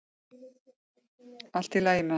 Allt í lagi með hann.